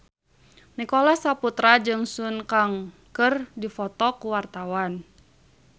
Nicholas Saputra jeung Sun Kang keur dipoto ku wartawan